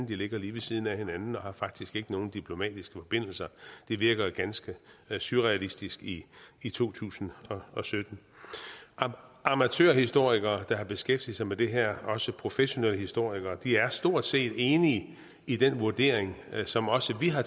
ligger lige ved siden af hinanden og de har faktisk ikke nogen diplomatiske forbindelser det virker ganske surrealistisk i i to tusind og sytten amatørhistorikere der har beskæftiget sig med det her også professionelle historikere er stort set enige i den vurdering som også vi har